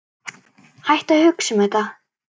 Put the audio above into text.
Hættu að hugsa um þetta.